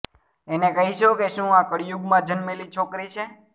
અને કહેશો કે શું આ કળિયુગમાં જન્મેલી છોકરી છે